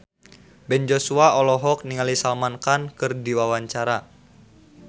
Ben Joshua olohok ningali Salman Khan keur diwawancara